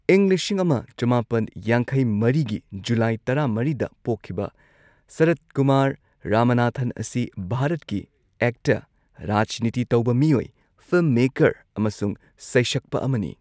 ꯏꯪ ꯂꯤꯁꯤꯡ ꯑꯃ ꯆꯃꯥꯄꯟ ꯌꯥꯡꯈꯩ ꯃꯔꯤꯒꯤ ꯖꯨꯂꯥꯏ ꯇꯔꯥꯃꯔꯤꯗ ꯄꯣꯛꯈꯤꯕ ꯁꯔꯊꯀꯨꯃꯥꯔ ꯔꯃꯅꯥꯊꯟ ꯑꯁꯤ ꯚꯥꯔꯠꯀꯤ ꯑꯦꯛꯇꯔ, ꯔꯥꯖꯅꯤꯇꯤ ꯇꯧꯕ ꯃꯤꯑꯣꯏ, ꯐꯤꯜꯝ ꯃꯦꯀꯔ, ꯑꯃꯁꯨꯡ ꯁꯩꯁꯛꯄ ꯑꯃꯅꯤ꯫